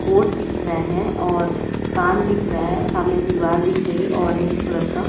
hot दिख रहा है और कान दिख रहा है सामने दीवार दिख रही ऑरेंज कलर का